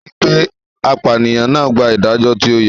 Ẹ ri pe apànìyàn náà gbà ìdájọ́ tí ó yẹ.